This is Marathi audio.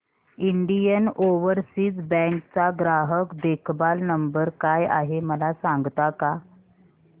इंडियन ओवरसीज बँक चा ग्राहक देखभाल नंबर काय आहे मला सांगता का